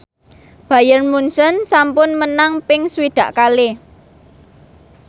Bayern Munchen sampun menang ping swidak kalih